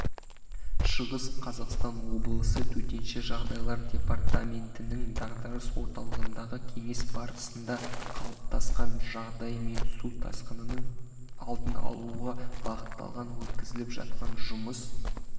шығыс қазақстан облысы төтенше жағдайлар департаментінің дағдарыс орталығындағы кеңес барысында қалыптасқан жағдай мен су тасқынының алдын алуға бағытталған өткізіліп жатқан жұмыс